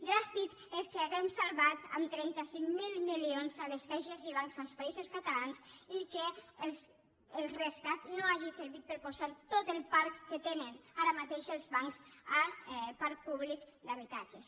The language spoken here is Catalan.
dràstic és que hàgim salvat amb trenta cinc mil milions les caixes i bancs als països catalans i que el rescat no hagi servit per a posar tot el parc que tenen ara mateix els bancs a parc públic d’ha bitatges